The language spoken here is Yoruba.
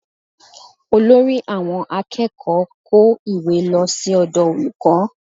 Olórí àwọn akẹ́kọ̀ọ́ kó ìwé lọ sí ọ̀dọ̀ olùkọ́